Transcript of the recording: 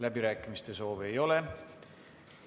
Läbirääkimiste soovi ei ole.